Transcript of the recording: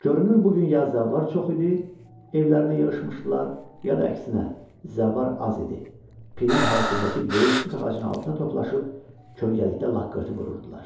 Görünür bu gün ya zəvvar çox idi, evlərinə yığışmışdılar, ya da əksinə, zəvvar az idi, pirin həyətindəki böyük tut ağacının altına toplaşıb kölgəlikdə lak-qırtı vururdular.